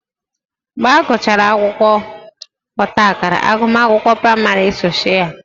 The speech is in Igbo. Mgbe agụchara akwụkwọ ọtaakara agụmakwụkwọ praịmarị esochie ya